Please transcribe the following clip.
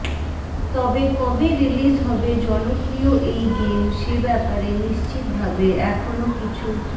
তবে কবে রিলিজ হবে জনপ্রিয় এই গেম সে ব্যাপারে নিশ্চিত ভাবে এখনও কিছু